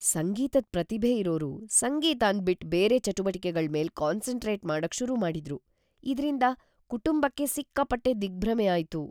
ಸಂಗೀತದ್ ಪ್ರತಿಭೆ ಇರೋರು ಸಂಗೀತನ್ ಬಿಟ್ ಬೇರೆ ಚಟುವಟಿಕೆಗಳ್ ಮೇಲ್ ಕಾನ್ಸನ್ಟ್ರೇಟ್ ಮಾಡಕ್ ಶುರು ಮಾಡಿದ್ರು, ಇದ್ರಿಂದ ಕುಟುಂಬಕ್ಕೆ ಸಿಕ್ಕಾಬಟ್ಟೆ ದಿಗ್ಭ್ರಮೆ ಆಯ್ತು.